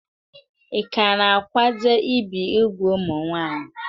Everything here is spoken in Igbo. Ị ka na-akwado ibi úgwù ụmụ nwanyị?